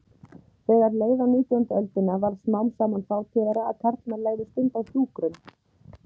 Þegar leið á nítjándu öldina varð smám saman fátíðara að karlmenn legðu stund á hjúkrun.